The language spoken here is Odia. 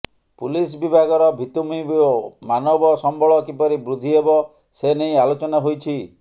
ପୁଲିସ ବିଭାଗର ଭିତ୍ତିଭୁମି ଓ ମାନବ ସମ୍ବଳ କିପରି ବୃଦ୍ଧି ହେବ ସେନେଇ ଆଲୋଚନା ହୋଇଛି